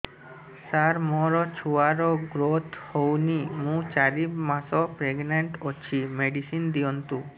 ସାର ମୋର ଛୁଆ ର ଗ୍ରୋଥ ହଉନି ମୁ ଚାରି ମାସ ପ୍ରେଗନାଂଟ ଅଛି ମେଡିସିନ ଦିଅନ୍ତୁ